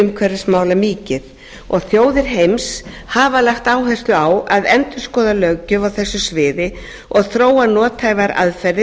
umhverfismála mikið og þjóðir heims hafa lagt áherslu á að endurskoða löggjöf á þessu sviði og þróa nothæfar aðferðir